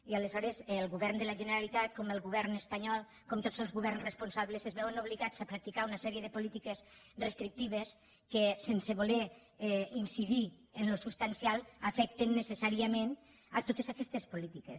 i aleshores el govern de la generalitat com el govern espanyol com tots els governs responsables es veuen obligats a practicar una sèrie de polítiques restrictives que sense voler incidir en el substancial afecten necessàriament totes aquestes polítiques